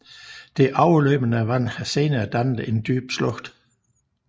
Det overløbende vand har senere dannet en dyb slugt